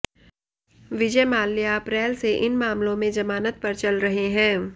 विजय माल्या अप्रैल से इन मामलों में जमानत पर चल रहे हैं